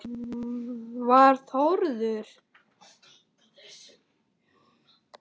Var Þórður